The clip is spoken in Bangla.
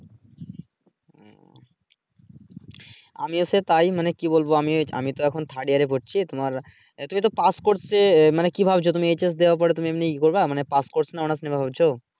আমি হচ্ছে তাই মানে কি বলবো আমি আমি তো এখন থার্ড ইয়ারে পড়ছি তোমার তুমি তো পাস করছে মানে কি ভাবছো তুমি এইস এস দেওয়ার পড়ে তুমি এমনি ইয়ে করবা মানি পাসকোর্স নাহ অনার্স নিবা ভাবছো।